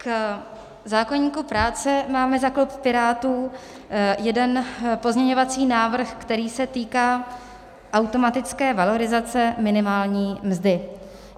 K zákoníku práce máme za klub Pirátů jeden pozměňovací návrh, který se týká automatické valorizace minimální mzdy.